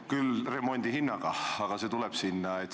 Küll remondi hinnaga, aga see tuleb sinna.